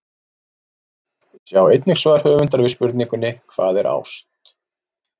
Sjá einnig svar höfundar við spurningunni Hvað er ást?